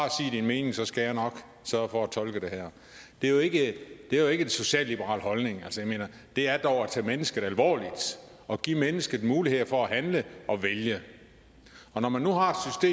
din mening så skal jeg nok sørge for at tolke det her det er jo ikke en socialliberal holdning det er dog at tage mennesket alvorligt og give mennesket muligheder for at handle og vælge og når man nu har